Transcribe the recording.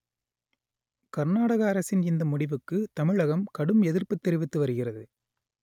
கர்நாடக அரசின் இந்த முடிவுக்கு தமிழகம் கடும் எதிர்ப்பு தெரிவித்து வருகிறது